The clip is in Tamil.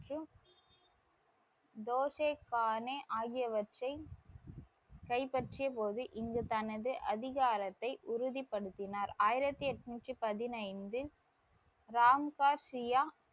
மற்றும் தோசெஸ்பானே ஆகியவற்றை கைப்பற்றியபோது இங்கு தனது அதிகாரத்தை உறுதிபடுத்தினார். ஆயிரத்தி எண்ணூற்றி பதினைந்து ராம்கா சியா,